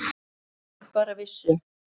Ef þau bara vissu.